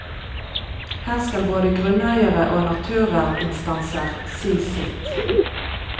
Her skal både grunneiere og naturverninstanser si sitt.